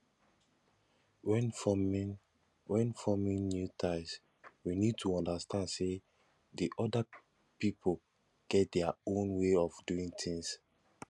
when forming when forming new ties we need to understand sey di oda pipo get their own way of doing things